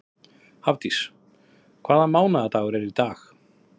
Hafdís, hvaða mánaðardagur er í dag?